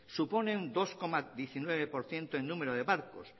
supone un dos coma diecinueve por ciento en número de barcos